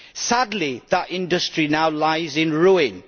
Sadly that industry now lies in ruin.